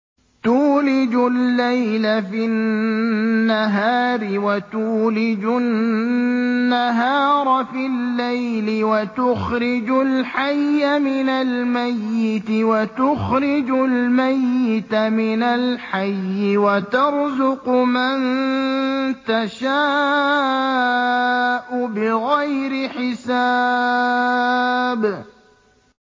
تُولِجُ اللَّيْلَ فِي النَّهَارِ وَتُولِجُ النَّهَارَ فِي اللَّيْلِ ۖ وَتُخْرِجُ الْحَيَّ مِنَ الْمَيِّتِ وَتُخْرِجُ الْمَيِّتَ مِنَ الْحَيِّ ۖ وَتَرْزُقُ مَن تَشَاءُ بِغَيْرِ حِسَابٍ